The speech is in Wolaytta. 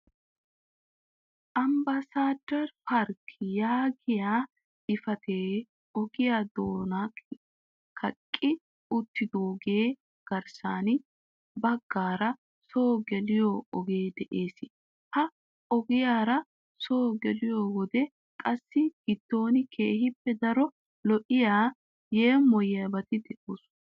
"Ambassador park" yaagiyaa xifatiya ogiyaa doona kaqqi uttidoogappe garssa baggaara soo geliyo ogee de'ees. Ha ogiyaara soo gelliyo wode qassi giddon keehippe daro lo"iyaa yeemoyiyyabati de'oosona.